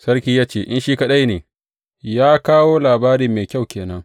Sarki ya ce, In shi kaɗai ne, ya kawo labari mai kyau ke nan.